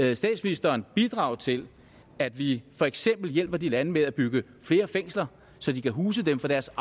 vil statsministeren bidrage til at vi for eksempel hjælper de lande med at bygge flere fængsler så de kan huse dem for deres